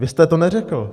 Vy jste to neřekl.